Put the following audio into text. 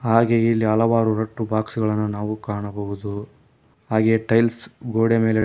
ಹಾಗೆ ಇಲ್ಲಿ ಹಲವಾರು ರಟ್ಟು ಬಾಕ್ಸು ಗಳನ್ನು ನಾವು ಕಾಣಬಹುದು ಹಾಗೆ ಟೈಲ್ಸ್ ಗೋಡೆ ಮೇಲೆ--